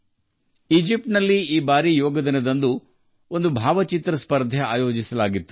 Egypt ನಲ್ಲಿ ಈ ಬಾರಿ ಯೋಗ ದಿನದಂದು ಫೋಟೊ ಸ್ಪರ್ಧೆ ಏರ್ಪಡಿಸಲಾಗಿತ್ತು